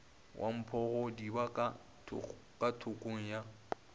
wa mphogodiba ka thokong ya